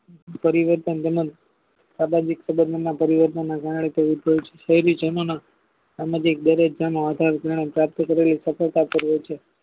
પરિવર્તન તેમજ પરિવર્તનો જણાય છે કોઈ જનો માં સફળતા કરી છે